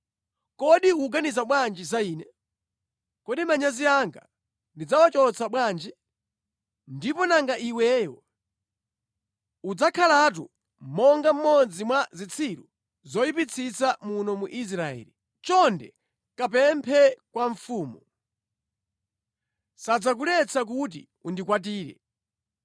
Kodi ukuganiza bwanji za ine? Kodi manyazi anga ndidzawachotsa bwanji? Ndipo nanga iweyo? Udzakhalatu monga mmodzi mwa zitsiru zoyipitsitsa muno mu Israeli. Chonde kapemphe kwa mfumu. Sadzakuletsa kuti undikwatire.”